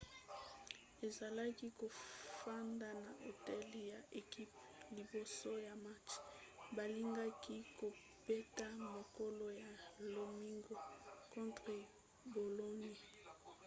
azalaki kofanda na hotel ya ekipe liboso ya match balingaki kobeta mokolo ya lomingo contre bologne